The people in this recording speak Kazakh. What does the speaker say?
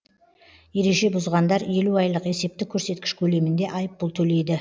ереже бұзғандар елу айлық есептік көрсеткіш көлемінде айыппұл төлейді